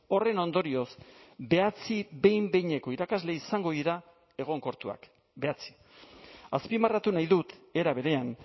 horren ondorioz bederatzi behin behineko irakasle izango dira egonkortuak bederatzi azpimarratu nahi dut era berean